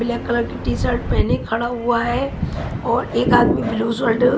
black colour की t-shirt पहने खड़ा हुआ है और एक आदमी ब्लू शर्ट --